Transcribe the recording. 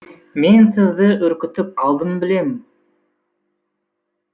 мен сізді үркітіп алдым білем